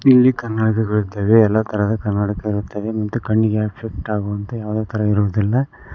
ಇಲ್ಲಿ ಕನ್ನಡಿಗಳಿರ್ತವೆ ಎಲ್ಲಾ ತರದ ಕನ್ನಡ್ಕ ಇರುತ್ತವೆ ಮತ್ತು ಕಣ್ಣಿಗೆ ಆಫೆಕ್ಟ್ ಆಗುವಂತೆ ಯಾವ್ದೆ ತರ ಇರುವುದಿಲ್ಲ.